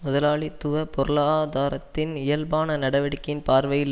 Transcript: முதலாளித்துவ பொருளாதாரத்தின் இயல்பான நடவடிக்கையின் பார்வையில்